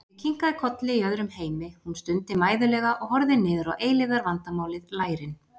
Ég kinkaði kolli í öðrum heimi, hún stundi mæðulega og horfði niður á eilífðarvandamálið, lærin.